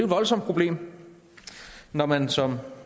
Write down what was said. voldsomt problem når man som